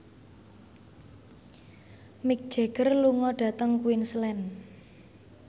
Mick Jagger lunga dhateng Queensland